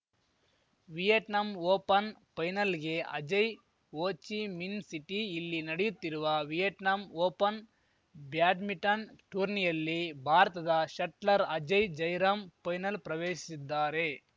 Vietnam open ಪೈನಲ್‌ಗೆ Ajay Ho Chi Minh City ಇಲ್ಲಿ ನಡೆಯುತ್ತಿರುವ ವಿಯೆಟ್ನಾಂ ಓಪನ್‌ ಬ್ಯಾಡ್ಮಿಂಟನ್‌ ಟೂರ್ನಿಯಲ್ಲಿ ಭಾರತದ ಶಟ್ಲರ್ ಅಜಯ್‌ ಜಯರಾಮ್‌ ಪೈನಲ್‌ ಪ್ರವೇಶಿಸಿದ್ದಾರೆ